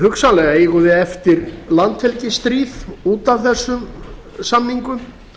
hugsanlega eigum við eftir landhelgisstríð út af þessum samningum